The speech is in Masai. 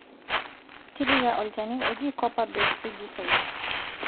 Tipika olchani oji copper base fugicide